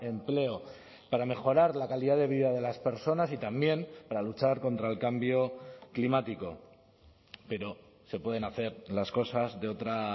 empleo para mejorar la calidad de vida de las personas y también para luchar contra el cambio climático pero se pueden hacer las cosas de otra